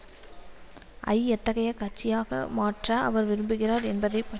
ஐ எத்தகைய கட்சியாக மாற்ற அவர் விரும்புகிறார் என்பதை பற்றியும் எத்தகைய